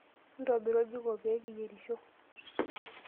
Ntobira oljiko pee kiyerisho.